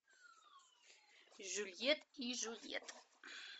жюльет и жюльет